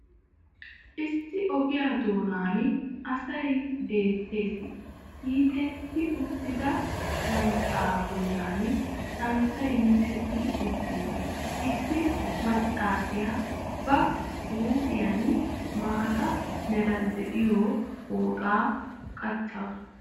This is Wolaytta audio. Issi ogiya doonaan asay beettees, hiixxetti uttida shanxxaa bollan santtay miccetti uttiis, issi maccassiya ba huuphphiyan maaata meray de'iyo pooxaa qaccaasu.